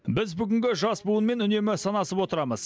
біз бүгінгі жас буынмен үнемі санасып отырамыз